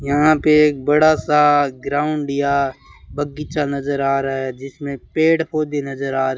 यहां पे एक बड़ासा ग्राउंड या बगीचा नजर आ रहा है जिसमें पेड़ पौधे नजर आ रहे --